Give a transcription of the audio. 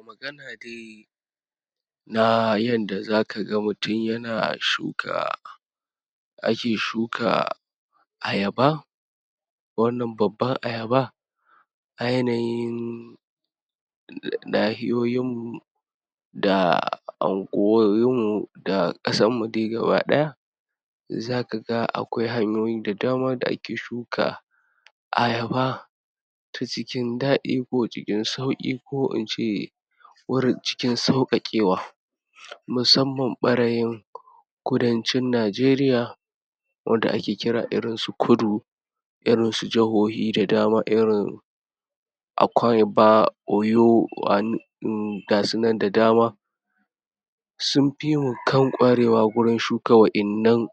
Magana dai na yanda za ka ga mutum ya na shuka ake shuka ayaba, wannan babban ayaba, a yanayin nahiyoyinmmu, da unguwowinmmu da ƙasarmu dai gaba ɗaya, za ka ga akwai hanyoyi da dama da ake shuka ayaba ta cikin daɗi ko cikin sauƙi ko in ce wurin cikin sauƙaƙewa, musamman ɓarayin kudancin Nigeria, wadda ake kira irin su kudu, irin su jahohi da dama irin Akwaibom, Oyo ga su nan da dama sunfi mu kan ƙwarewa wurin shuka wannan